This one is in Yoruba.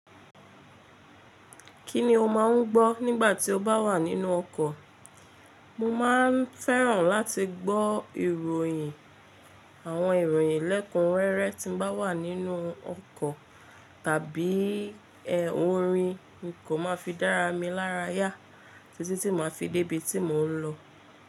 Kí ni o máa ń gbọ́ nígbà tí o bá wà nínú ọkọ̀? Mo máa ń fẹ́ràn láti gbọ́ ìròyìn, àwọn ìròyìn lẹ́kun rẹrẹ tí ń bá wà nínú ọkọ̀ tàbí ẹ́ orin mo kò máa fi dára mi lára yá títí tí ma fi débí tí mò ń lọ.